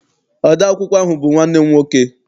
Ode akwụkwọ ahụ bụ nwanne m nwoke.